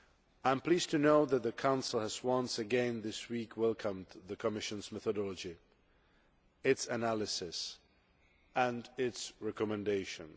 I am pleased to know that the Council has once again this week welcomed the Commission's methodology, its analysis and its recommendations.